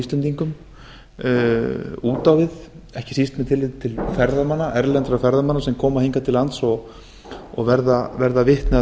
út á við ekki síst með tilliti til erlendra ferðamanna sem koma hingað til lands og verða vitni að